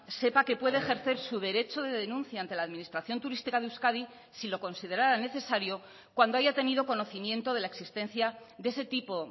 sepa que puede ejercer su derecho de denuncia ante la administración turística de euskadi si lo considerara necesario cuando haya tenido conocimiento de la existencia de ese tipo